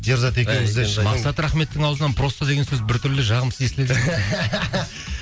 ерзат екеуміз де мақсат рахметовтың аузынан просто деген сөз біртүрлі жағымсыз естіледі екен